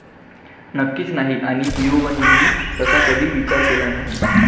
नक्कीच नाही. आणि ईयोबनेही तसा कधी विचार केला नाही.